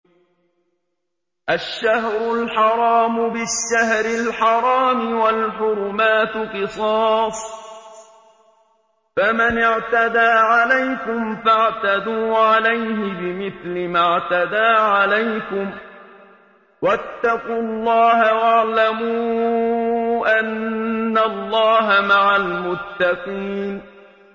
الشَّهْرُ الْحَرَامُ بِالشَّهْرِ الْحَرَامِ وَالْحُرُمَاتُ قِصَاصٌ ۚ فَمَنِ اعْتَدَىٰ عَلَيْكُمْ فَاعْتَدُوا عَلَيْهِ بِمِثْلِ مَا اعْتَدَىٰ عَلَيْكُمْ ۚ وَاتَّقُوا اللَّهَ وَاعْلَمُوا أَنَّ اللَّهَ مَعَ الْمُتَّقِينَ